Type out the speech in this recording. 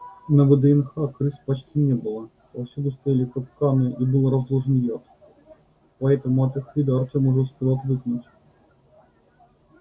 на вднх крыс почти не было повсюду стояли капканы и был разложен яд поэтому от их вида артём уже успел отвыкнуть